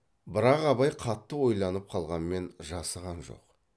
бірақ абай қатты ойланып қалғанмен жасыған жоқ